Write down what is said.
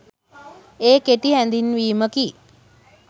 ඒ කෙටි හැඳින්වීමකි.